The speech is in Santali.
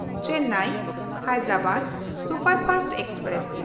Chennai-Hyderabad superfast express